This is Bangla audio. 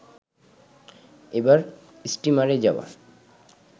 এবার স্টিমারে যাওয়া